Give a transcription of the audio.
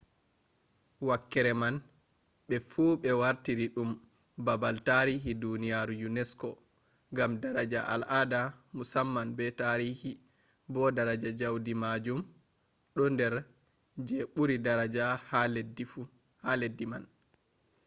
wakkere man fu ɓe wartiri ɗum babal tarihi duniyaaru unesco gam daraja al'aada musamman be tarihi bo daraja jaudi maajum ɗo nder je ɓuri daraja ha leddi man